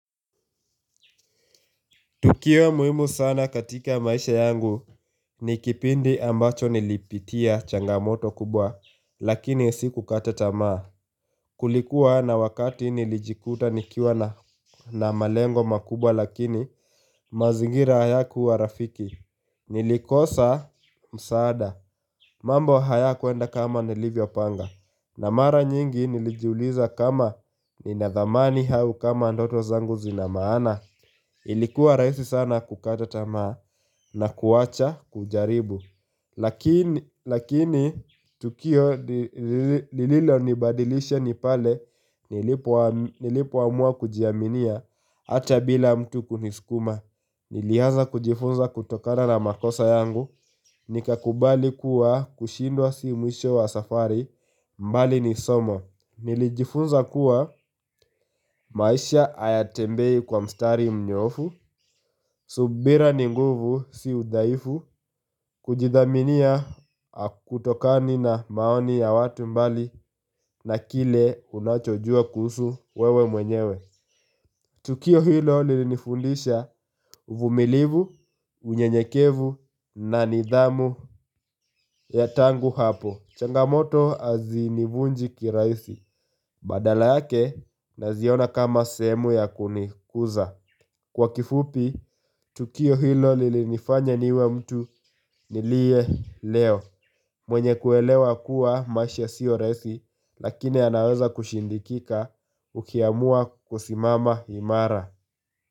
Tukio muhimu sana katika maisha yangu ni kipindi ambacho nilipitia changamoto kubwa lakini sikukata tamaa. Kulikuwa na wakati nilijikuta nikiwa na malengo makubwa lakini mazingira hayakuwa rafiki. Nilikosa msaada. Mambo hayakuenda kama nilivyopanga. Na mara nyingi nilijuliza kama nina thamani au kama ndoto zangu zina maana. Ilikuwa rahisi sana kukata tamaa na kuacha kujaribu Lakini tukio lililonibadilisha ni pale nilipoamua kujiaminia Hata bila mtu kunisukuma Nilianza kujifunza kutokana na makosa yangu Nikakubali kuwa kushindwa si mwisho wa safari mbali ni somo Nilijifunza kuwa maisha hayatembei kwa mstari mnyoofu subira ni nguvu si udhaifu kujidhaminia hakutokani na maoni ya watu mbali na kile unachojua kuhusu wewe mwenyewe Tukio hilo lilinifundisha uvumilivu, unyenyekevu na nidhamu ya tangu hapo changamoto hazinivunji kirahisi badala yake naziona kama sehemu ya kunikuza Kwa kifupi, tukio hilo lilinifanya niwe mtu niliye leo mwenye kuelewa kuwa maisha sio rahisi lakini yanaweza kushindikika ukiamua kusimama imara.